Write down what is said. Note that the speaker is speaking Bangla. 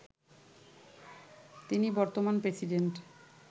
তিনি বর্তমান প্রেসিডেন্ট